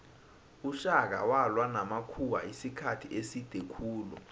ushaka walwa namakhuwamisikhathi eside khulu